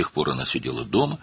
O vaxtdan bəri o, evdə otururdu.